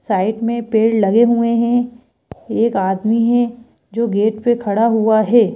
Side में पेड़ लगे हुए हैं एक आदमी है जो गेट पर खड़ा हुआ है।